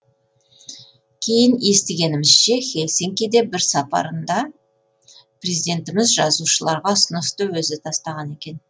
кейін естігенімізше хельсинкиге бір сапарында президентіміз жазушыларға ұсынысты өзі тастаған екен